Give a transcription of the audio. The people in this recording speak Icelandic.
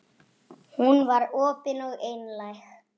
Hún var opin og einlæg.